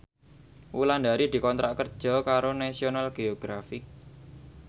Wulandari dikontrak kerja karo National Geographic